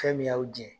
Fɛn min y'aw jɛn